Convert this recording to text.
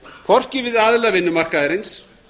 hvorki við aðila vinnumarkaðarins